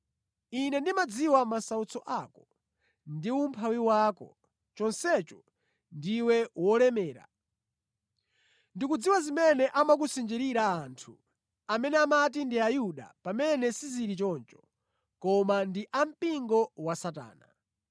Ine ndimadziwa masautso ako ndi umphawi wako, chonsecho ndiwe wolemera! Ndikudziwa zimene amakusinjirira anthu amene amati ndi Ayuda pamene sizili choncho, koma ndi a mpingo wa Satana.